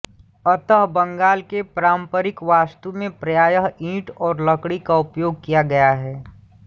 अतः बंगाल के पारम्परिक वास्तु में प्रायः ईंट और लकड़ी का उपयोग किया गया है